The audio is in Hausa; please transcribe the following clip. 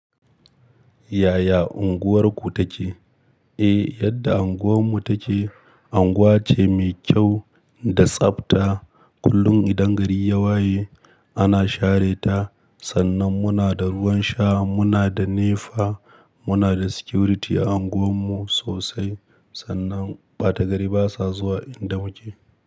Yaya unguwarku take? Eh, yadda unguwarmu take, unguwa ce mai kyau da tsabta. Kullum idan gari ya waye ana share ta. Sannan muna da ruwan sha, muna da nefa, muna da security a unguwarmu sosai. Sannan ɓata gari basa zuwa in damu ke.